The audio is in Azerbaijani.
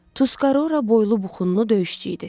Tuskara boylu, bəxtu buxunlu döyüşçü idi.